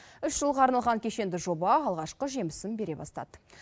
үш жылға арналған кешенді жоба алғашқы жемісін бере бастады